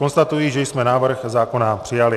Konstatuji, že jsme návrh zákona přijali.